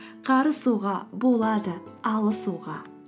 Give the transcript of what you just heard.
қарысуға болады алысуға